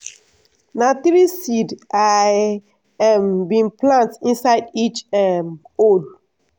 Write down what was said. na three seed i um bin plant inside each um hole.